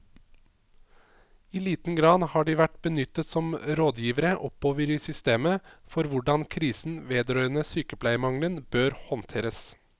I liten grad har de vært benyttet som rådgivere oppover i systemet for hvordan krisen vedrørende sykepleiermangelen bør håndteres.